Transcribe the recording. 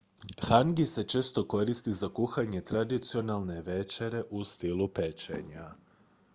hangi se često koristi za kuhanje tradicionalne večere u stilu pečenja